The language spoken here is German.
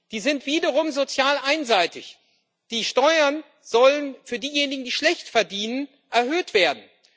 Die sind wiederum sozial einseitig Die Steuern sollen für diejenigen, die schlecht verdienen, erhöht werden.